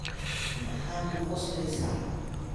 maxaad ku qoslaysaa?